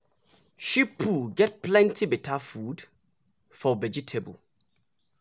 sheep poo get plenty better food for vegetable.